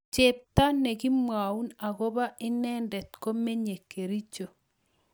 chepto negimwaun agoba inenendet komenye Kericho